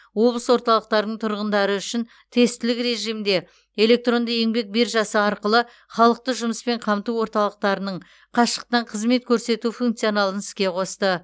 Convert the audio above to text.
облыс орталықтарының тұрғындары үшін тестілік режимде электронды еңбек биржасы арқылы халықты жұмыспен қамту орталықтарының қашықтықтан қызмет көрсету функционалын іске қосты